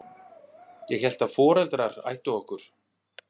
Ég hélt að foreldrar ættu okkur.